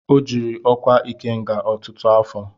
O jiiri ọkwa Ikenga ọtụtụ afọ.